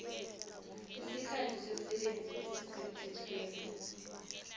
isikhathi somsebenzi esisemthethweni